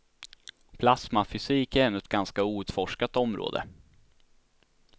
Plasmafysik är ännu ett ganska outforskat område.